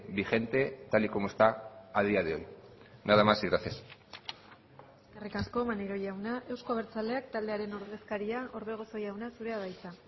vigente tal y como está a día de hoy nada más y gracias eskerrik asko maneiro jauna euzko abertzaleak taldearen ordezkaria orbegozo jauna zurea da hitza